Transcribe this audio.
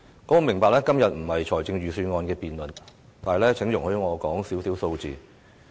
我明白今天不是辯論預算案，但請容許我說少許數字。